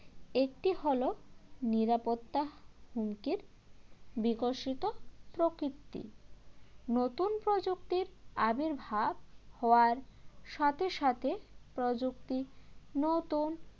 একটি হল নিরাপত্তা হুমকির বিকশিত প্রকৃতি নতুন প্রযুক্তির আবির্ভাব হওয়ার সাথে সাথে প্রযুক্তি নতুন